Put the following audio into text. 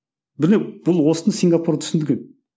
бұл осыны сингапур түсінген